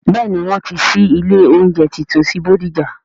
Bẹ́ẹ̀ni, wọn ti ṣí ilé oúnjẹ tuntun sí bódìjà